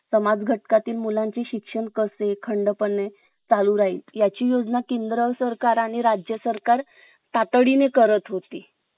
जिथे एक चांगला अनुभव असेल आणि चांगला पगार आणि मोबदला देखील मिळू शकेल हे स्वप्न तर सर्वाचे असते. परंतु ह्या साठी आपल्याला एका चांगल्या प्रकारे मुलाखत म्हणजे interview द्यावा लागेल